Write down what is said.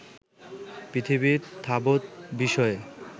পৃথিবীর তাবত্ বিষয়ে